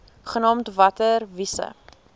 genaamd water wise